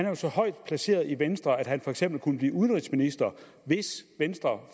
jo så højt placeret i venstre at han for eksempel kunne blive udenrigsminister hvis venstre